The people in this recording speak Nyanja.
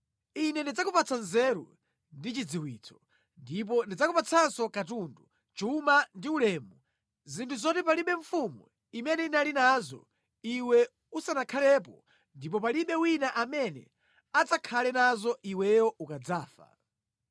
Ine ndidzakupatsa nzeru ndi chidziwitso. Ndipo ndidzakupatsanso katundu, chuma ndi ulemu, zinthu zoti palibe mfumu imene inali nazo iwe usanakhalepo ndipo palibe wina amene adzakhale nazo iweyo ukadzafa.”